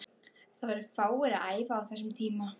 Það voru fáir að æfa á þessum tíma.